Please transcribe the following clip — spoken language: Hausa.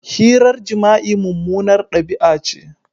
Hirar jima'i mummunar dabi'a ce.